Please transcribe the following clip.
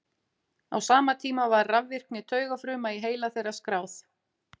Á sama tíma var rafvirkni taugafruma í heila þeirra skráð.